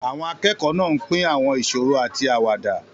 Àwọn akẹ́kọ̀ọ́ náà ń pín àwọn ìṣòro àti àwàdà.